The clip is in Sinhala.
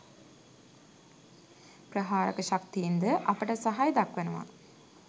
ප්‍රහාරක ශක්තින් ද අපට සහය දක්වනවා.